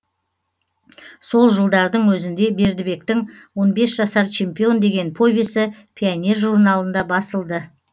сол жылдардың өзінде бердібектің он бес жасар чемпион деген повесі пионер журналында басылды